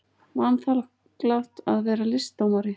Vanþakklátt að vera listdómari.